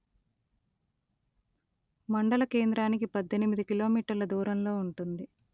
మండల కేంద్రానికి పధ్ధెనిమిది కిలోమీటర్ల దూరంలో ఉంటుంది